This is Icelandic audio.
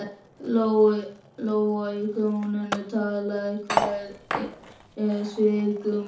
Lóa: Í krónum talið, hvert er svigrúmið?